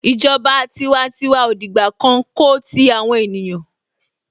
Ìjọba tiwantiwa ò dìgbà kan ko ti àwọn ènìyàn.